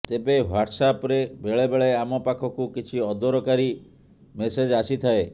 ତେବେ ହ୍ୱାଟସ୍ଆପ୍ରେ ବେଳେବେଳେ ଆମ ପାଖକୁ କିଛି ଅଦରକାରୀ ମେସେଜ ଆସିଥାଏ